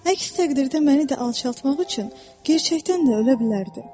Əks təqdirdə məni də alçaltmaq üçün gerçəkdən də ölə bilərdi.